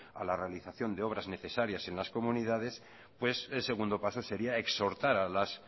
a la realización de obras necesarias en las comunidades el segundo paso sería exhortar a las